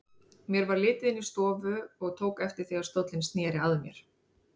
Mér varð litið inn í stofu og tók eftir því að stóllinn sneri að mér.